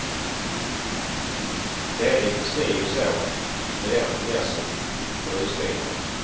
Det är litet si och så med den finessen på husbilarna.